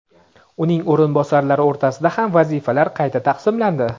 uning o‘rinbosarlari o‘rtasida ham vazifalar qayta taqsimlandi.